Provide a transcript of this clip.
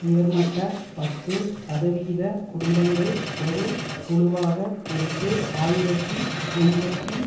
உயர்மட்ட பத்து சதவிகித குடும்பங்கள் ஒரு குழுவாக எட்டு ஆயிரத்தி எண்பத்தி